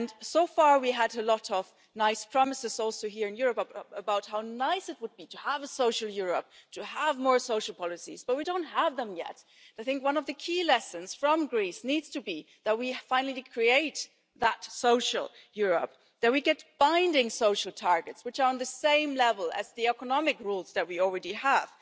So far, we have had a lot of nice promises, including here in the EU, about how nice it would be to have a social Europe and to have more social policies, but we don't have them yet. One of the key lessons from Greece is that we need to finally create that social Europe, and that we get binding social targets, which are on the same level as the economic rules that we already have.